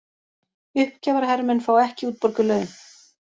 Uppgjafahermenn fá ekki útborguð laun